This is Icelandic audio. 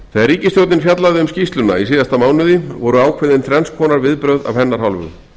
þegar ríkisstjórnin fjallaði um skýrsluna í síðasta mánuði voru ákveðin þrenns konar viðbrögð af hennar hálfu